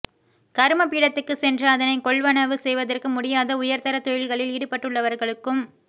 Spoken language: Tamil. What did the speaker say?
கருமபீடத்துக்கு சென்று அதனைக் கொள்வனவு செய்வதற்கு முடியாத உயர் தர தொழில்களில் ஈடுபட்டுள்ளவர்களுக்கும்